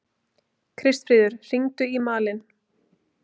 Kristfríður, hringdu í Malin.